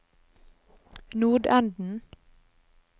nordenden